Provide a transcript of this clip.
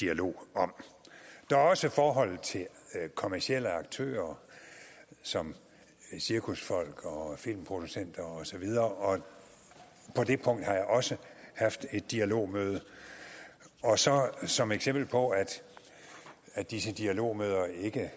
dialog om der er også forholdet til kommercielle aktører som cirkusfolk og filmproducenter og så videre på det punkt har jeg også haft et dialogmøde og så som eksempel på at at disse dialogmøder ikke